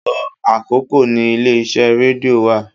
Ibùsọ̀ àkọ́kọ́ ni ilé iṣẹ́ rédíò wa.